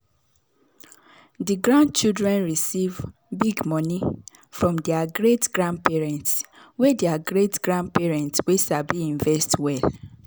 di grandchildren receive big money from their great-grandparents wey their great-grandparents wey sabi invest well.